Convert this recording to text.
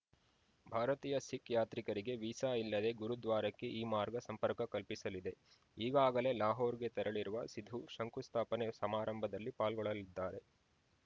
ಭಾರತೀಯ ಸಿಖ್‌ ಯಾತ್ರಿಕರಿಗೆ ವೀಸಾ ಇಲ್ಲದೇ ಗುರುದ್ವಾರಕ್ಕೆ ಈ ಮಾರ್ಗ ಸಂಪರ್ಕ ಕಲ್ಪಿಸಲಿದೆ ಈಗಾಗಲೇ ಲಾಹೋರ್‌ಗೆ ತೆರಳಿರುವ ಸಿಧು ಶಂಕು ಸ್ಥಾಪನೆ ಸಮಾರಂಭದಲ್ಲಿ ಪಾಲ್ಗೊಳ್ಳಲಿದ್ದಾರೆ